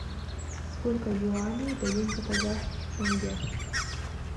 сколько юаней дают за казахских тенге